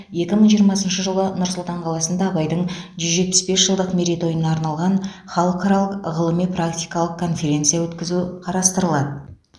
екі мың жиырмасыншы жылы нұр сұлтан қаласында абайдың жүз жетпіс бес жылдық мерейтойына арналған халықаралық ғылыми практикалық конференция өткізу қарастырылады